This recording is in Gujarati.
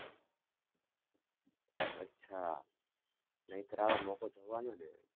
અચ્છા નહીતર આવો મોકો જવા ન દેવાય.